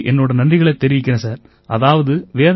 நான் உங்களுக்கு என்னோட நன்றிகளைத் தெரிவிக்கிறேன் சார்